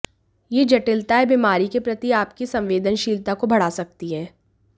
ये जटिलताएं बीमारी के प्रति आपकी संवेदनशीलता को बढ़ा सकती हैं